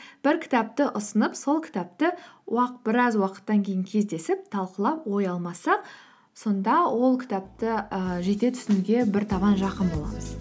бір кітапты ұсынып сол кітапты біраз уақыттан кейін кездесіп талқылап ой алмассақ сонда ол кітапты і жете түсінуге бір табан жақын боламыз